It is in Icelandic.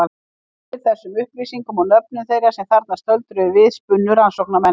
Eftir þessum upplýsingum og nöfnum þeirra sem þarna stöldruðu við spunnu rannsóknarmenn.